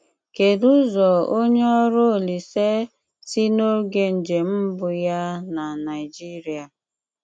Kèdú ụzọ ònye ọrụ Olísè si n’ógè njem mbụ̀ yá ná Naijíríà?